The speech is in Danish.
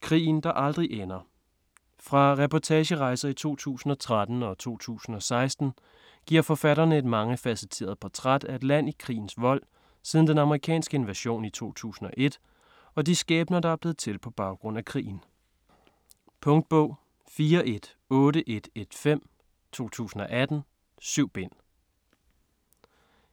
Krigen der aldrig ender Fra reportagerejser i 2013 og 2016 giver forfatterne et mangefacetteret portræt af et land i krigens vold, siden den amerikanske invasion i 2001, og de skæbner der er blevet til på baggrund af krigen. Punktbog 418115 2018. 7 bind.